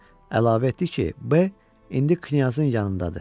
Əlavə etdi ki, B indi knyazın yanındadır.